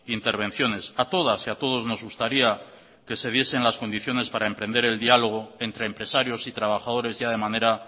intervenciones a todas y a todos nos gustaría que se diesen las condiciones para emprender el diálogo entre empresarios y trabajadores ya de manera